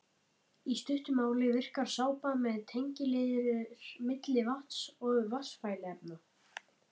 Í stuttu máli virkar sápa sem tengiliður milli vatns og vatnsfælinna efna.